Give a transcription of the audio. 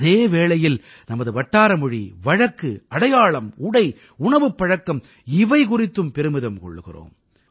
அதே வேளையில் நமது வட்டார மொழி வழக்கு அடையாளம் உடை உணவுப் பழக்கம் இவை குறித்தும் பெருமிதம் கொள்கிறோம்